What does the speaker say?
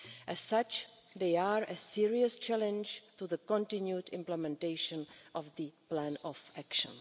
As such, they are a serious challenge to the continued implementation of the plan of action.